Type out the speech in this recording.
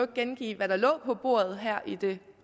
gengive hvad der lå på bordet her i det